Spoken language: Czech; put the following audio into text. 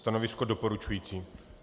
Stanovisko doporučující.